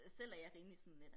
Selv er jeg rimelig sådan lidt